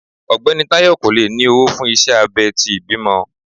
Ọgbẹni Tayo ko le ni owo fun iṣẹ abé ti ìbímo